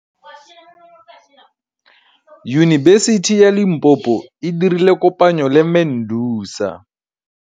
Yunibesiti ya Limpopo e dirile kopanyô le MEDUNSA.